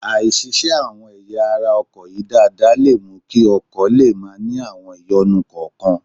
Àì ṣiṣẹ́ àwọn ẹ̀yà ara ọkọ̀ yìí dáadáa lè mú kí ọkọ̀ lè máa ní àwọn ìyọnu kọ̀ọ̀kan